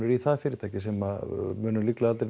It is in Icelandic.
í það fyrirtæki sem munu líklega aldrei